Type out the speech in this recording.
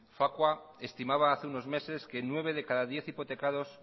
facua estimaba hace unos meses que nueve de cada diez hipotecados